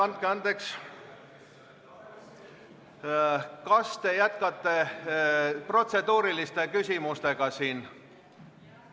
Andke andeks, kas te jätkate protseduurilisi küsimusi?